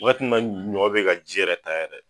Wagati min na ɲɔ be ka ji yɛrɛ ta